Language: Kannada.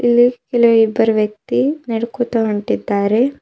ಇಲ್ಲಿ ಇಲ್ ಇಬ್ಬರು ವ್ಯಕ್ತಿ ನಡ್ಕೋತ ಹೊಂಟಿದ್ದಾರೆ.